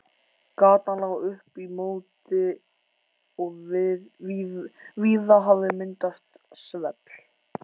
Gatan lá upp í móti og víða hafði myndast svell.